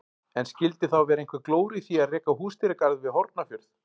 En skildi þá vera einhver glóra í því að reka húsdýragarð við Hornafjörð?